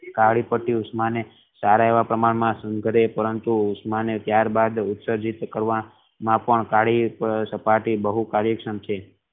કાલી પટ્ટી ઉષ્મા ને સારા એવા કમાડ માં પરંતુ ઉષ્મા ને ત્યાર બાદ ઉષ્મા ને કરવા માં કાલી પેટ્ટી બહુ કાર્યક્ષમ છે.